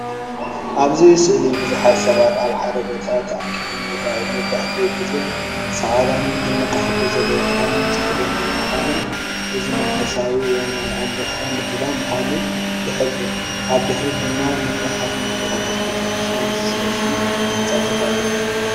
ኣብዚ ስእሊ ብዙሓት ሰባት ኣብ ሓደ ቦታ ተኣኪቦም ይረኣዩ። መብዛሕትኡ ግዜ ጻዕዳን ድሙቕ ሕብሪ ዘለዎን ክዳን ዝኽደኑ ብምዃኖም እዚ መንፈሳዊ ወይ ናይ ኣምልኾ ምድላው ምዃኑ ይሕብር። ኣብ ድሕሪት ድማ መድረኻት ምልክታትን ቤተክርስትያን ዝመስሉ ህንጻታትን ኣለዉ።